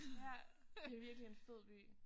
Ja det virkelig en fed by